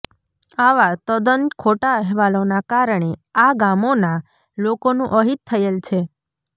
આવા તદ્દન ખોટા અહેવાલોના કારણે આ ગામોના લોકોનું અહિત થયેલ છે